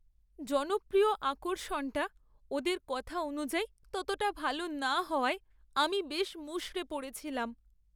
জনপ্রিয় আকর্ষণটা ওদের কথা অনুযায়ী ততটা ভালো না হওয়ায় আমি বেশ মুষড়ে পড়েছিলাম।